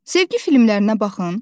Sevgi filmlərinə baxın.